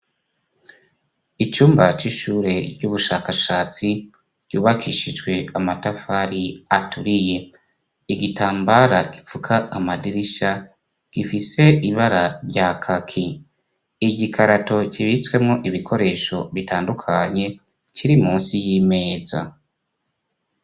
Icumba c'ishure ry'ubushakashatsi yubakishijwe amatafari aturiye igitambara gipfuka amadirisha gifise ibara rya kaki igikarato kibitswemo ibikoresho bitandukanye kiri munsi y'imeza.